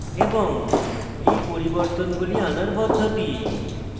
এই পরিবর্তনগুলি আনার পদ্ধতি